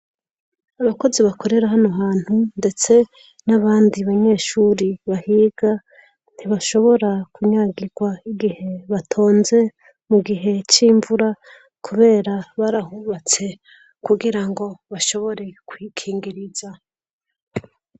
Abakozi bakorera hano hantu ndetse n'abandi banyeshure bahiga ntibashobora kunyagirwa igihe batonze mu gihe c'imvura kubera barahubatse kugirango bashobore kwikingiriza.